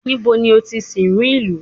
Níbo ni o ti sìnrú ìlú?